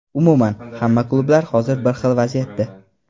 Umuman, hamma klublar hozir bir xil vaziyatda”.